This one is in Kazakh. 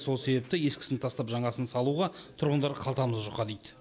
сол себепті ескісін тастап жаңасын салуға тұрғындар қалтамыз жұқа дейді